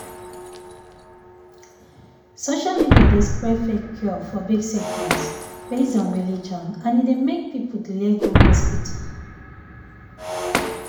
social media dey spread fake cure for big sickness based on religion and e dey make people delay go hospital.